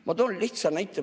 Ma toon lihtsa näite.